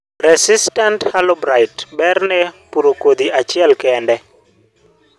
Resistant halo blight, berrne puro kodhi achiel kende.